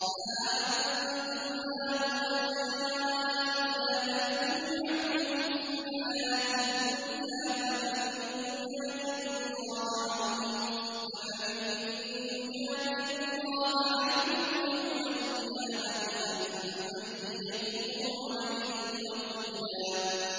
هَا أَنتُمْ هَٰؤُلَاءِ جَادَلْتُمْ عَنْهُمْ فِي الْحَيَاةِ الدُّنْيَا فَمَن يُجَادِلُ اللَّهَ عَنْهُمْ يَوْمَ الْقِيَامَةِ أَم مَّن يَكُونُ عَلَيْهِمْ وَكِيلًا